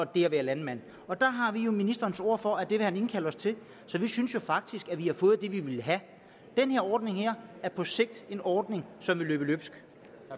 det at være landmand der har vi ministerens ord for at det vil han indkalde os til så vi synes jo faktisk at vi har fået det vi ville have den her ordning er på sigt en ordning som vil løbe løbsk